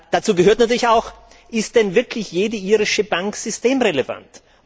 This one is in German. Dazu gehört natürlich auch Ist denn wirklich jede irische Bank systemrelevant?